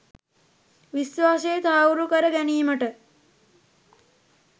විශ්වාසය තහවුරු කර ගැනීමට